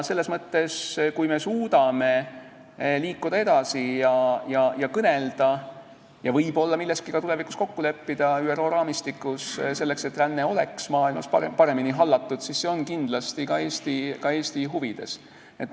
Kui me suudame liikuda edasi ja kõnelda ja võib-olla milleski ÜRO raamistiku põhjal tulevikus kokku leppida, selleks et ränne oleks maailmas paremini hallatud, siis see on kindlasti ka Eesti huvides.